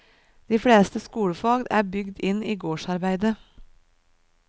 De fleste skolefag er bygd inn i gårdsarbeidet.